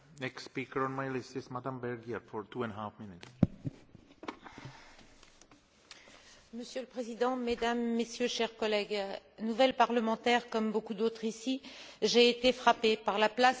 Monsieur le Président, Mesdames, Messieurs, chers collègues, nouvelle parlementaire comme beaucoup d'autres ici, j'ai été frappée par la place faite aux droits de l'homme dans les discours tenus dans cet hémicycle, et notamment dans ceux de notre président Buzek.